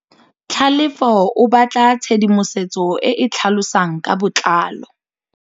Tlhalefô o batla tshedimosetsô e e tlhalosang ka botlalô.